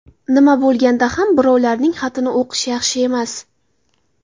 Nima bo‘lganda ham, birovlarning xatini o‘qish yaxshi emas.